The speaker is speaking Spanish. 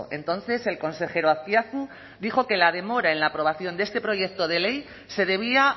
entonces el consejero azpiazu dijo que la demora en la aprobación de este proyecto de ley se debía